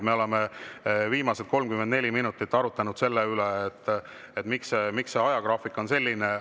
Me oleme viimased 34 minutit arutanud selle üle, miks see ajagraafik on selline.